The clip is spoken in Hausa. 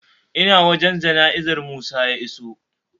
Ina wajan jana'izar musa ya iso